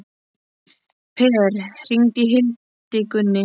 Per, hringdu í Hildigunni.